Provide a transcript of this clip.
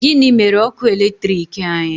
Gịnị mere ọkụ eletrik anyị?